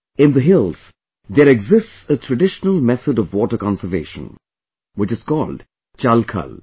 in the hills there exists a traditional method of water conservation, which is called Chalkhal